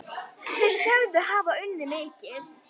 Þeir sögðust hafa unnið mikið.